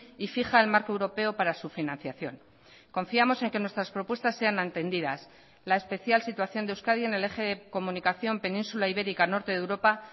y fija el marco europeo para su financiación confiamos en que nuestras propuestas sean atendidas la especial situación de euskadi en el eje comunicación península ibérica norte de europa